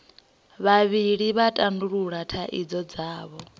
vhavhili vha tandulula thaidzo dzavho